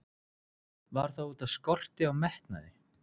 Var það útaf skorti á metnaði?